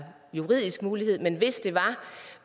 juridisk muligt men hvis det er